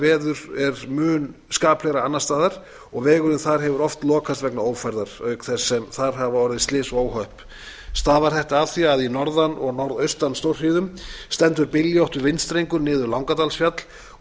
veður er mun skaplegra annars staðar og vegurinn þar hefur oft lokast vegna ófærðar auk þess sem þar hafa orðið slys og óhöpp stafar þetta af því að í norðan og norðaustanstórhríð stendur byljóttur vindstrengur niður langadalsfjall og